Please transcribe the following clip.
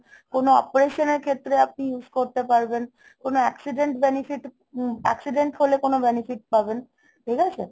কোনো operation এর ক্ষেত্রে আপনি use করতে পারবেন কোনো accident benefit উম accident হলে কোনো benefit পাবেন। ঠিক আছে?